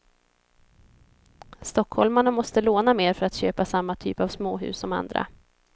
Stockholmarna måste låna mer för att köpa samma typ av småhus som andra.